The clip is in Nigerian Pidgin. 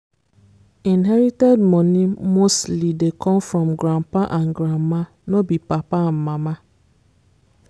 inherited money mostly dey come from grandpa and grandma no be papa and mama